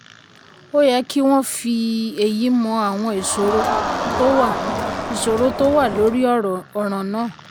ó yẹ kí wọ́n fi èyí mọ àwọn ìṣòro tó wà ìṣòro tó wà lórí ọ̀ràn náà.